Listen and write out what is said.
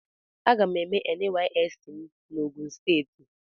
Aga m eme nysc m n'ogun steeti.